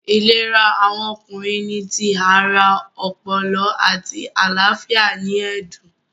Ìlera awọn Ọkùnrin ni tí ará, ọpọlọ, àti àlàáfíà ní ẹdun